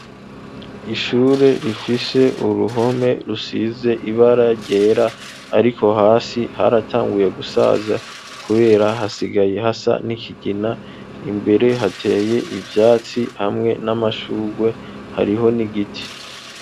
Ishure rifishe uruhome rusize ibara ryera, ariko hasi haratanguye gusaza, kubera hasigaye hasa n'ikigina imbere hateye ivyatsi hamwe n'amashurwe hariho ni igiti.